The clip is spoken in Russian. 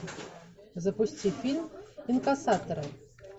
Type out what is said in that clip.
запусти фильм инкассаторы